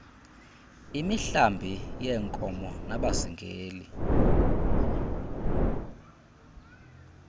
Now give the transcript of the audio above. imihlambi yeenkomo nabazingeli